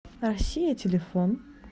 россия телефон